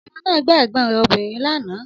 Ọmọ náà gbá ẹ̀gbọ́n rẹ̀ obìnrin lánàá